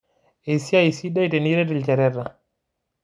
Esiai sidai tiniret lchoreta